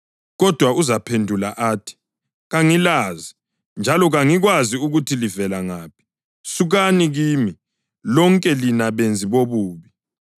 Kodwa uzaphendula athi, ‘Kangilazi, njalo kangikwazi ukuthi livela ngaphi. Sukani kimi, lonke lina benzi bobubi!’